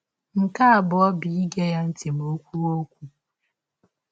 Nke abụọ bụ ige ya ntị ma ọ kwụwe ọkwụ.